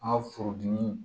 An ka furudimi